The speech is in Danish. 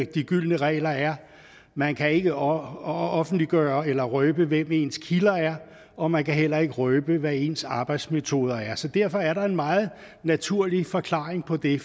de gyldne regler er man kan ikke offentliggøre eller røbe hvem ens kilder er og man kan heller ikke røbe hvad ens arbejdsmetoder er så derfor er der en meget naturlig forklaring på det